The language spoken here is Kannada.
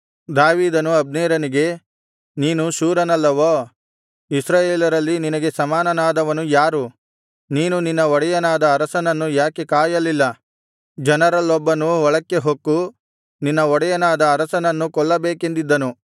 ದಾವೀದನು ಅಬ್ನೇರನಿಗೆ ನೀನು ಶೂರನಲ್ಲವೋ ಇಸ್ರಾಯೇಲರಲ್ಲಿ ನಿನಗೆ ಸಮಾನನಾದವನು ಯಾರು ನೀನು ನಿನ್ನ ಒಡೆಯನಾದ ಅರಸನನ್ನು ಯಾಕೆ ಕಾಯಲಿಲ್ಲ ಜನರಲ್ಲೊಬ್ಬನು ಒಳಕ್ಕೆ ಹೊಕ್ಕು ನಿನ್ನ ಒಡೆಯನಾದ ಅರಸನನ್ನು ಕೊಲ್ಲಬೇಕೆಂದಿದ್ದನು